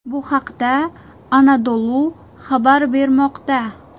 Bu haqda Anadolu xabar bermoqda .